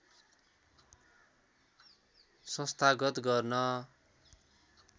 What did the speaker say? संस्थागत गर्न